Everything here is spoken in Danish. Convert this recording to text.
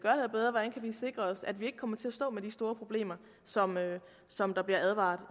sikre os at vi ikke kommer til at stå med de store problemer som som der bliver advaret